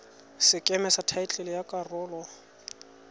sekeme sa thaetlele ya karolo